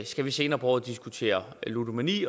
skal vi senere på året diskutere ludomani